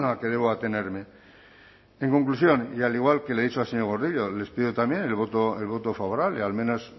que debo atenerme en conclusión y al igual que le he dicho al señor gordillo les pido también el voto favorable al menos